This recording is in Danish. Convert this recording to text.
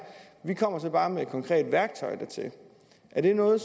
vi kommer så bare med et konkret værktøj dertil er det noget